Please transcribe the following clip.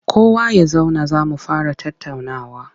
Kowa ya zauna za mu fara tattaunawa!